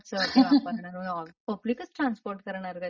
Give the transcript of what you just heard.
unintelligible पब्लिकच transport करणार त्याच्यात.